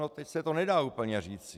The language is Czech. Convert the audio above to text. No teď se to nedá úplně říct.